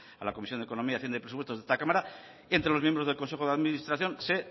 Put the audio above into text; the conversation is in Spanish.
a la comisión de economía hacienda y presupuestos de esta cámara entre los miembros del consejo de administración se